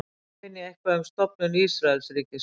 Hvar finn ég eitthvað um stofnun Ísraelsríkis?